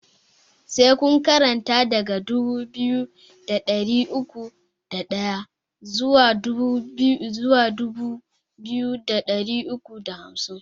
Sai kun karanta daga dubu biyu da ɗari uku da ɗaya zuwa dubu biyu da ɗari uku da hamsin!